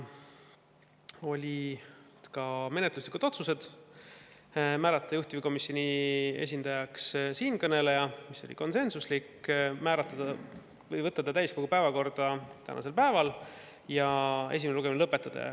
Tehti ka menetluslikud otsused: määrata juhtivkomisjoni esindajaks siinkõneleja, võtta eelnõu täiskogu päevakorda tänaseks päevaks ja esimene lugemine lõpetada.